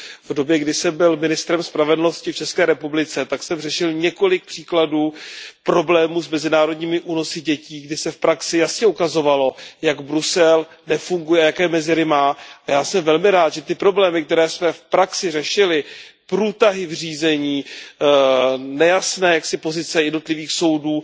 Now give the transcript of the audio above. V době, kdy jsem byl ministrem spravedlnosti v ČR, tak jsem řešil několik příkladů problémů s mezinárodními únosy dětí, kdy se v praxi jasně ukazovalo, jak Brusel nefunguje, jaké mezery má a já jsem velmi rád, že ty problémy, které jsme v praxi řešili průtahy v řízení, nejasné pozice jednotlivých soudů